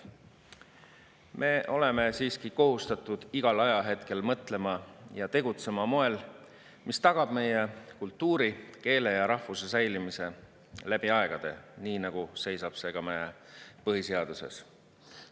Me oleme siiski kohustatud igal ajahetkel mõtlema ja tegutsema moel, mis tagab meie kultuuri, keele ja rahvuse säilimise läbi aegade, nii nagu seisab see ka meie põhiseaduses.